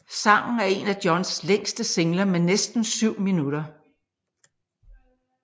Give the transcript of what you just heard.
Sangen er en af Johns længste singler med næsten syv minutter